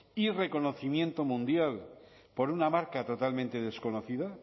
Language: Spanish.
y reconocimiento mundial por una marca totalmente desconocida